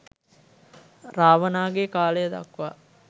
රාවණාගේ කාලය දක්වා